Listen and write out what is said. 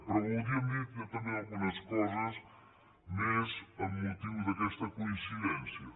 però voldríem dir també algunes coses més amb mo·tiu d’aquesta coincidència